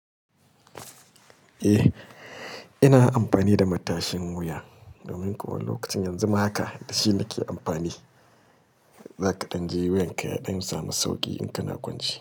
Eh, ina amfani da matashin wuya domin kuwa lokacin yanzu ma haka shine nake amfani. Zaka ɗan ji wuyan ka ya ɗan samu sauƙi in kana kwance.